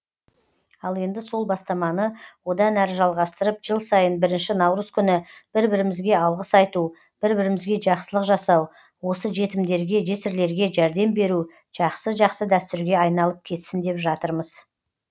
ал енді сол бастаманы одан әрі жалғастырып жыл сайын бірінші наурыз күні бір бірімізге алғыс айту бір бірімізге жақсылық жасау осы жетімдерге жесірлерге жәрдем беру жақсы жақсы дәстүрге айналып кетсін деп жатырмыз